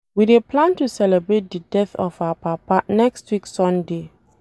We dey plan to celebrate the death of our papa next week sunday